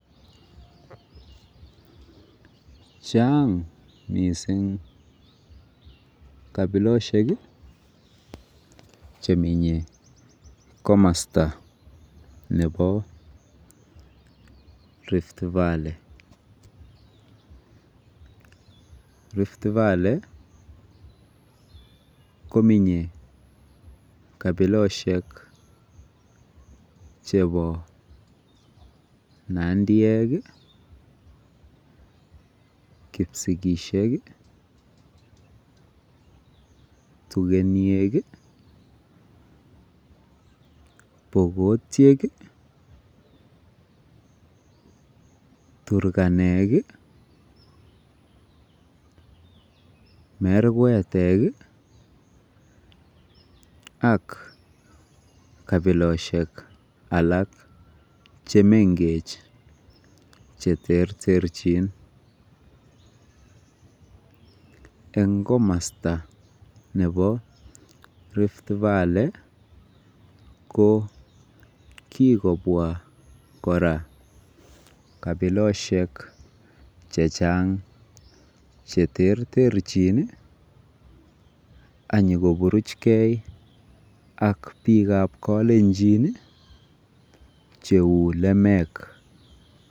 Chang' missing' kapiloshek che menye komasta nepo Rift Valley. Rift Valley ko menye kapiloshek chepo Nandiek, kipisigisiek i, Tugeniek i, Pokotiek i, Turkanet i, Merkwetek ak kapiloshek alak che mengech che terterchin. Eng' komasta nepo Rift Valley ko kikopwa kora kapikoshek che terterchin ak nyu kopuruchgei ak piik ap Kalenjin che u lemek.